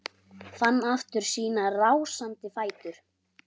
Fann aftur sína rásandi fætur.